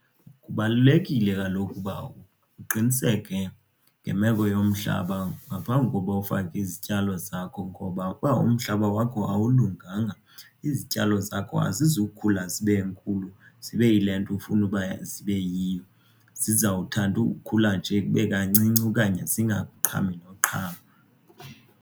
Kubalulekile kaloku ukuba uqiniseke ngemeko yomhlaba ngaphambi kokuba ufake izityalo zakho ngoba uba umhlaba wakho awulunganga izityalo zakho azizukhula zibe nkulu zibe yile nto ufuna uba zibe yiyo. Zizawuthanda ukukhula nje kube kancinci okanye zingaqhami nokuqhama.